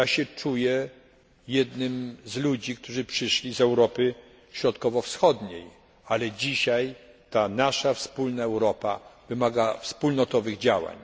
Czuję się jednym z ludzi, którzy przyszli z Europy Środkowowschodniej, ale dzisiaj ta nasza wspólna Europa wymaga wspólnotowych działań.